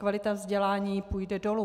Kvalita vzdělání půjde dolů.